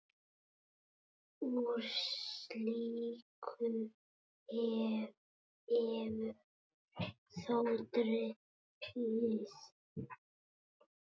Úr slíku hefur þó dregið.